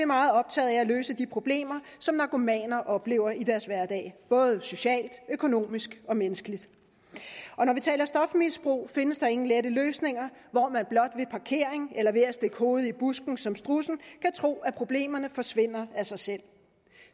meget optaget af at løse de problemer som narkomaner oplever i deres hverdag både socialt økonomisk og menneskeligt og når vi taler om stofmisbrug findes der ingen lette løsninger hvor man blot ved parkering eller ved at stikke hovedet i busken som strudsen kan tro at problemerne forsvinder af sig selv